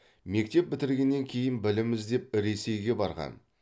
мектеп бітіргеннен кейін білім іздеп ресейге барған